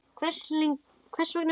Hvers vegna flúði ég?